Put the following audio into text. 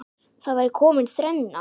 Þá væri komin þrenna.